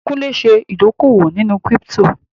Kúnlé ṣe ìdókòwò nínú kírípítò